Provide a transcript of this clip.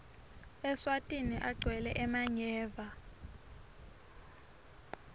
eswatini kagwele emanyeva